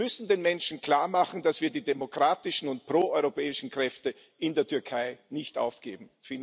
Wir müssen den Menschen klarmachen, dass wir die demokratischen und proeuropäischen Kräfte in der Türkei nicht aufgeben.